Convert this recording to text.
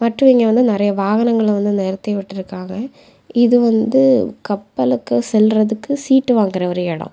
இட்ரு வந்து நெறைய வாகனங்கள வந்து நிறுத்து விட்ருக்காங்க இது வந்து கப்பலுக்கு சொல்றதுக்கு சீட்டு வாங்குகிற ஒரு இடம்.